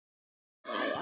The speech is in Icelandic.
Smella hér